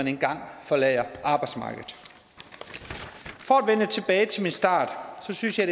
engang forlader arbejdsmarkedet for at vende tilbage til min start så synes jeg